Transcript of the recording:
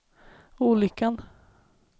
olyckan